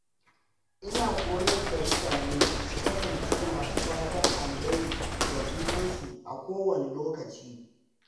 Ina koyar da mutane su kasance masu fatan alheri ga junansu a kowane lokaci.